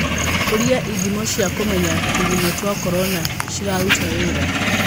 ũrĩa ĩthimo cia kũmenya tũgunyũtwa Korona ciraruta wĩra?